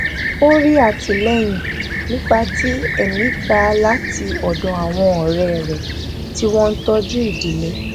ó rí àtìléyìn nípa ti èmí gbà láti òdò àwọn òré rè tí wón ń tójú ìdílé